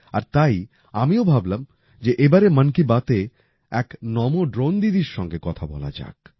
আর তাই আমিও ভাবলাম যে এবারের মন কি বাতে এক নমো ড্রোন দিদির সঙ্গে কথা বলা যাক